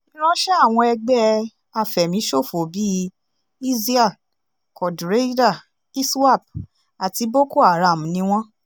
ìránṣẹ́ àwọn ẹgbẹ́ àfẹ̀míṣòfò bíi isial quadraeda iswap àti boko-haram ni wọ́n